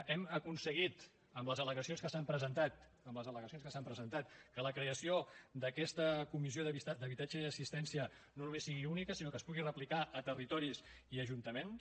hem aconseguit amb les al·legacions que s’han presentat amb les al·legacions que s’han presentat que la creació d’aquesta comissió d’habitatge i assistència no només sigui única sinó que es pugui replicar a territoris i a ajuntaments